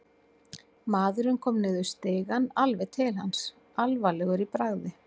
Maðurinn kom niður í stigann, alveg til hans, alvarlegur í bragði.